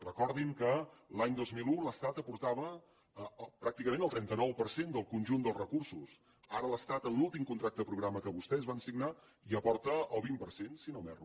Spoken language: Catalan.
recordin que l’any dos mil un l’estat aportava pràcticament el trenta nou per cent del conjunt dels recursos ara l’estat en l’últim contracte programa que vostès van signar hi aporta el vint per cent si no m’erro